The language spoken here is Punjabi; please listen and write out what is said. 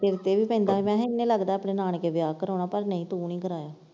ਤੇਰੇ ਤੇ ਪੈਂਦਾ ਸੀ ਮੈਂ ਕਿਹਾ ਇਹਨੇ ਲੱਗਦਾ ਆਪਣੇ ਨਾਨਕੇ ਵਿਆਹ ਕਰਾਉਣਾ ਪਰ ਨਈਂ ਤੂੰ ਨਈਂ ਕਰਾਇਆ।